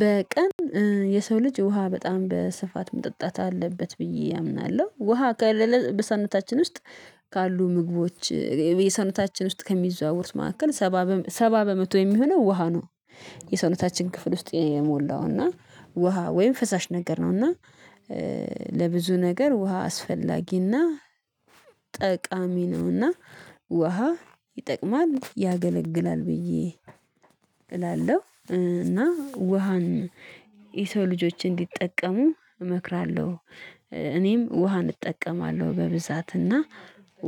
በቀን የሰው ልጅ ውሃ በጣም በስፋት መጠጣት አለበት ብዬ አምናለሁ ውሃ ከሌለ በሰውነታችን ውስጥ ካሉ ምግቦች የሰውነታችን ውስጥ ከሚዘዋወሩት መካከል ሰባ በመቶ የሚሆነው ውሃ ነው። የሰውነታችን ክፍል ውስጥ የሞላው እና ውሃ ወይም ፈሳሽ ነገር ነው እና ለብዙ ነገር ውሃ አስፈላጊ እና ጠቃሚ ነውና ውሃ ይጠቅማል ያገለግላል ብዬ እላለሁ። እና ውሃን የሰው ልጆች እንዲጠቀሙ እመክራለሁ። እኔም ውሃን እጠቀማለሁ በብዛት እና